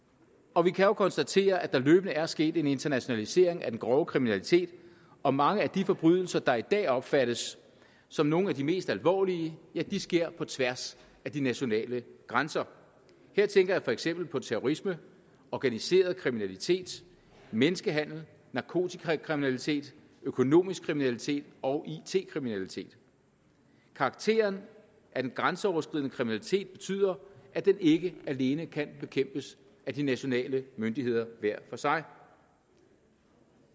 og vi kan jo konstatere at der løbende er sket en internationalisering af den grove kriminalitet og mange af de forbrydelser der i dag opfattes som nogle af de mest alvorlige sker på tværs af de nationale grænser her tænker jeg for eksempel på terrorisme organiseret kriminalitet menneskehandel narkotikakriminalitet økonomisk kriminalitet og it kriminalitet karakteren af den grænseoverskridende kriminalitet betyder at den ikke alene kan bekæmpes af de nationale myndigheder hver for sig